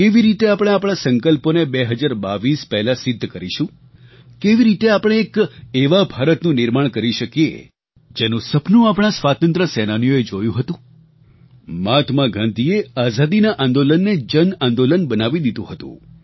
કેવી રીતે આપણે આપણા સંકલ્પોને 2022 પહેલાં સિદ્ધ કરીશું કેવી રીતે આપણે એક એવા ભારતનું નિર્માણ કરી શકીએ જેનું સપનું આપણા સ્વાતંત્ર્ય સેનાનીઓએ જોયું હતું મહાત્મા ગાંધીએ આઝાદીના આંદોલનને જન આંદોલન બનાવી દીધું હતું